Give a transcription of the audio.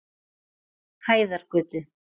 Hæðargötu